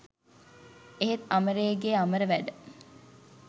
එහෙත් අමරේගේ අමර වැඩ